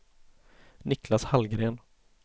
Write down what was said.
Niclas Hallgren